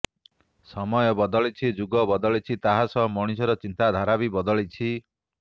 ସମୟ ବଦଳିଛି ଯୁଗ ବଦଳିଛି ତାହା ସହ ମଣିଷର ଚିନ୍ତାଧାରା ବି ବଦଳିଛି